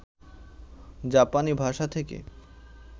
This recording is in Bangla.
জাপানী ভাষা থেকে